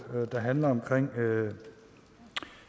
der handler om